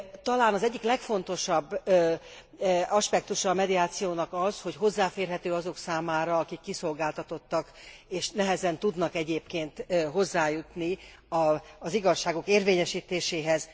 Talán az egyik legfontosabb aspektusa a mediációnak az, hogy hozzáférhető azok számára, akik kiszolgáltatottak, és nehezen tudnak egyébként hozzájutni az igazságuk érvényesítéséhez.